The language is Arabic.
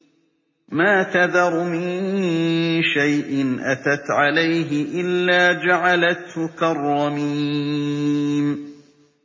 مَا تَذَرُ مِن شَيْءٍ أَتَتْ عَلَيْهِ إِلَّا جَعَلَتْهُ كَالرَّمِيمِ